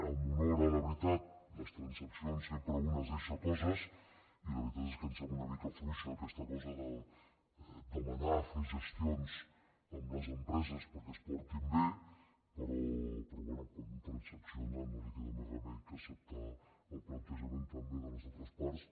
amb honor a la veritat a les transaccions sempre un es deixa coses i la veritat és que sembla una mica fluixa aquesta cosa de demanar fer gestions amb les empreses perquè es portin bé però bé quan un transacciona no li queda més remei que acceptar el plantejament també de les altres parts